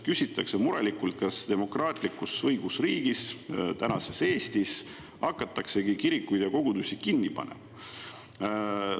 Küsitakse murelikult, kas demokraatlikus õigusriigis, tänases Eestis, hakataksegi kirikuid ja kogudusi kinni panema.